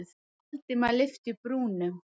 Valdimar lyfti brúnum.